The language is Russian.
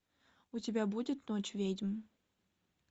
у тебя будет ночь ведьм